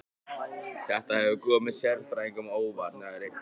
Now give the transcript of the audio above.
Þetta hefur komið sérfræðingum á óvart